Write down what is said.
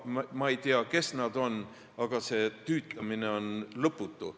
Ma ei tea, kes need helistajad on, aga see tüütamine on lõputu.